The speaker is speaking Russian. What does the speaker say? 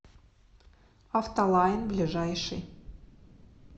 автолайн ближайший